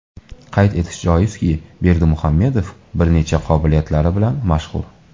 Qayd etish joizki, Berdimuhamedov bir nechta qobiliyatlari bilan mashhur.